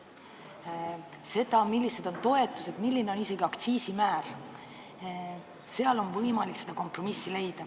Ka selles, millised on toetused, milline on isegi aktsiiside määr, on võimalik kompromissi leida.